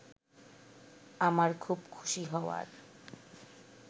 আমার খুব খুশি হওয়ার